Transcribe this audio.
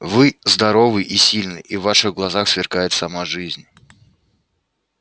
вы здоровый и сильный и в ваших глазах сверкает сама жизнь